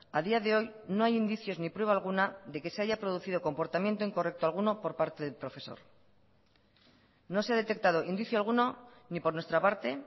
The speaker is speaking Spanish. a día de hoy no hay indicios ni prueba alguna de que se haya producido comportamiento incorrecto alguno por parte del profesor no se ha detectado indicio alguno ni por nuestra parte